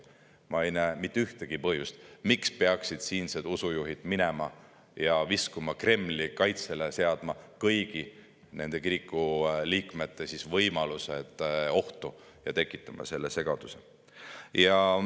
Ma ei näe mitte ühtegi põhjust, miks peaksid siinsed usujuhid minema ja viskuma Kremli kaitsele, seadma kõigi nende kiriku liikmete võimalused ohtu ja tekitama sellise segaduse.